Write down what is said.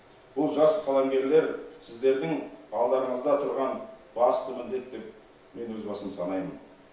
бұл жас қаламгерлер сіздердің алдарыңызда тұрған басты міндет деп мен өз басым санаймын